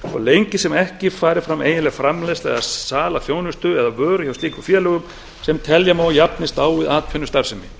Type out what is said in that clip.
svo lengi sem ekki fari fram eiginleg framleiðsla eða sala þjónustu eða vöru hjá slíkum félögum sem telja má að jafnist á við atvinnustarfsemi